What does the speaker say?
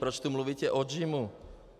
Proč tu mluvíte o JIMu?